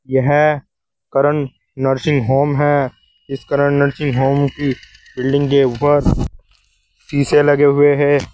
यह Karna nursing home है। इस कर्ण नर्सिंग होम की बिल्डिंग के ऊपर शीशे लगे हुए हैं।